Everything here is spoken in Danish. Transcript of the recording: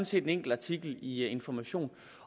set en enkelt artikel i information